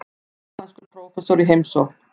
Japanskur prófessor í heimsókn.